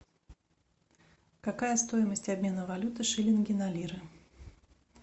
какая стоимость обмена валюты шиллинги на лиры